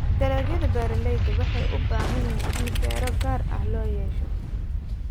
Dalagyada beeralayda waxay u baahan yihiin in fiiro gaar ah loo yeesho.